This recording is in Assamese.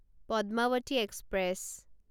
পদ্মাৱতী এক্সপ্ৰেছ